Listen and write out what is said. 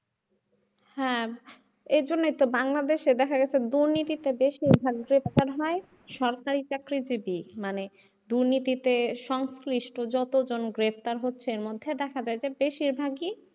হ্যাঁ এরজন্যেই তো বাংলাদেশে দেখা গেছে দুর্নীতিটা বেশিরভাগ সরকারি চাকরিজীবী মানে দুর্নীতিতে সংশ্লিষ্ট যেকজন গ্রেফতার হচ্ছে এর মধ্যে দেখা যায় যে বেশিরভাগই,